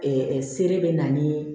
se bɛ na ni